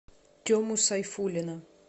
тему сайфуллина